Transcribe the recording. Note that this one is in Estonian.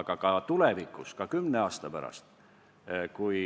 Aga ka tulevikus, ka kümne aasta pärast, kui